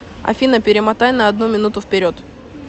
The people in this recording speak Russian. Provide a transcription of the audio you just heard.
афина перемотай на одну минуту вперед